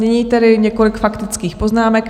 Nyní tedy několik faktických poznámek.